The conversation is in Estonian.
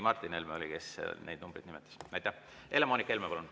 Helle-Moonika Helme, palun!